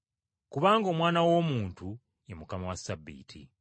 Kubanga Omwana w’Omuntu ye Mukama wa Ssabbiiti.”